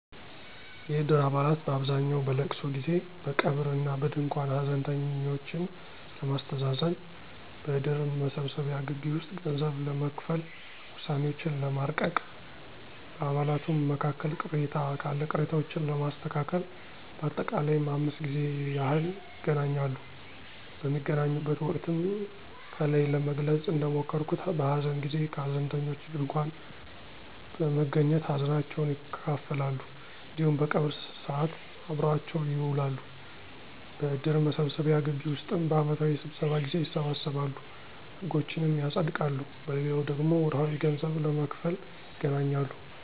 የእድር አባላት በአብዛኛው በእልቅሶ ጊዜ፦ በቀብር እና በድንኳን ሀዘንተኞችን ለማስተዛዘን፣ በእድር መሰብሰቢያ ግቢ ውስጥ ገንዘብ ለመክፈል፣ ውሳኔዎችን ለማርቀቅ፣ በአባላቱም መካከል ቅሬታ ካለ ቅሬታዎችን ለማስተካከል በአጠቃላይም 5 ጊዜ ያህል ይገናኛሉ። በሚገናኙበት ወቅትም ከላይ ለመግለጽ እንደሞከርኩት በሀዘን ጊዜ ከሀዘንተኞች ድንኳን በመገኘት ሀዘናቸውን ይካፈላሉ እንዲሁም በቀብር ሰዓት አብረዋቸው ይውላሉ። በእድር መሰብሰቢያ ግቢ ውስጥም በአመታዊ ስብሰባ ጊዜ ይሰበሰባሉ፤ ህጎችንም ያፀድቃሉ። በሌላው ደግሞ ወርሀዊ ገንዘብ ለመክፈል ይገናኛሉ።